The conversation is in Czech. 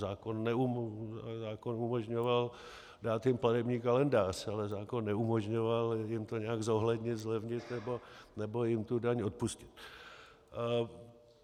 Zákon umožňoval dát jim platební kalendář, ale zákon neumožňoval jim to nějak zohlednit, zlevnit nebo jim tu daň odpustit.